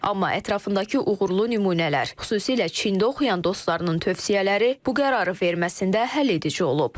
Amma ətrafındakı uğurlu nümunələr, xüsusilə Çində oxuyan dostlarının tövsiyələri bu qərarı verməsində həlledici olub.